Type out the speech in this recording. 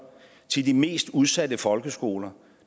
til de mest udsatte folkeskoler